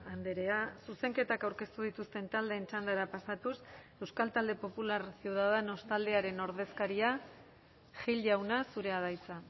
andrea zuzenketak aurkeztu dituzten taldeen txandara pasatuz euskal talde popular ciudadanos taldearen ordezkaria gil jauna zurea da hitza